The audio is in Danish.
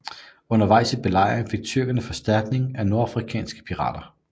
Undervejs i belejringen fik tyrkerne forstærkning af nordafrikanske pirater